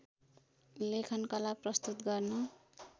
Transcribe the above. लेखनकला प्रस्तुत गर्न